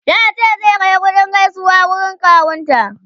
ya ce zai Kai kuɗin gaisuwa wurin kawun ta